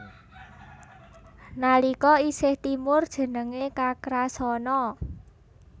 Nalika isih timur jenengé Kakrasana